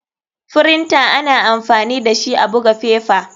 Firinta ana amfani dashi a buga fefa.